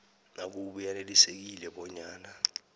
nakube yanelisekile bonyana